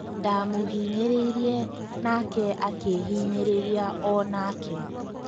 Ndamũhinyĩrĩirie nake akĩhĩnyĩrĩria o-nake.